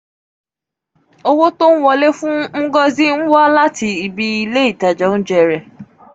owo ti o nwole fun ngozi nwa lati ibi ile itaja ounje re